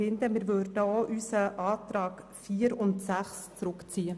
Wir würden unsere Planungserklärungen 4 und 6 zurückziehen.